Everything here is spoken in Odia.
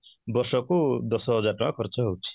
ବର୍ଷ କୁ ଦଶ ହଜାର ଟଙ୍କା ଖର୍ଚ୍ଚ ହଉଛି